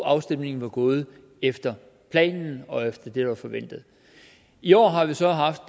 afstemningen var gået efter planen og efter det der var forventet i år har vi så haft